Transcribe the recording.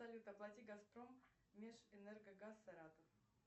салют оплати газпром межэнерго газ саратов